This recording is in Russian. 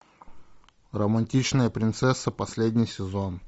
романтичная принцесса последний сезон